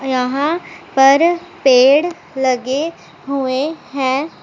यहां पर पेड़ लगे हुए हैं।